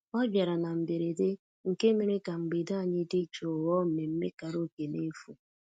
ọ bịara na mberede nke mere ka mgbede anyị dị jụụ ghọọ mmemmé karaoke n'efu